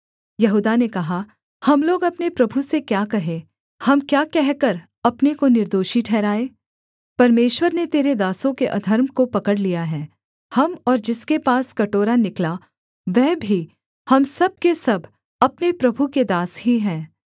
यहूदा ने कहा हम लोग अपने प्रभु से क्या कहें हम क्या कहकर अपने को निर्दोषी ठहराएँ परमेश्वर ने तेरे दासों के अधर्म को पकड़ लिया है हम और जिसके पास कटोरा निकला वह भी हम सब के सब अपने प्रभु के दास ही हैं